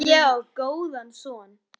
Ég á góðan son.